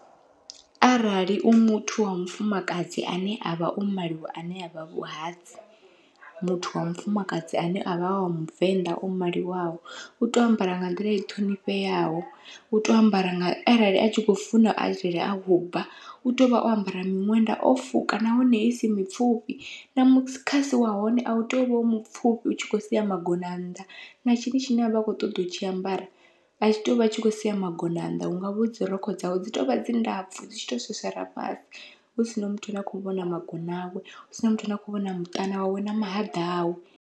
Arali u muthu wa mufumakadzi ane avha o maliwa ane avha vhuhadzi, muthu wa mufumakadzi ane avha wa muvenḓa o maliwaho utea u ambara nga nḓila i ṱhonifheaho, utea u ambara nga arali a tshi kho funa arali a khou bva utea uvha o ambara miṅwenda o fuka nahone isi mipfhufhi na mukhasi wa hone au tei uvha u mupfhufhi utshi kho sia magona nnḓa, na tshini tshine avha a kho ṱoḓa u tshi ambara athi tei uvha tshi kho sia magona nnḓa hu ngavha dzi rokho dzawe dzi tovha dzi ndapfhu dzi tshi to swaswara fhasi, hu sina muthu ane a kho vhona magona awe hu sina muthu ane a kho vhona muṱani wawe na mahaḓa awe.